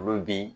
Olu bi